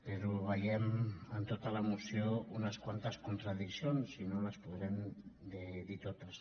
però veiem en tota la moció unes quantes contradiccions i no les podrem dir totes